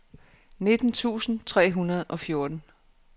nitten tusind tre hundrede og fjorten